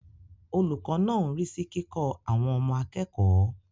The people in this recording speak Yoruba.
Olùkọ́ náà ń rí sí kíkọ́ àwọn ọmọ akẹ́kọ̀ọ́.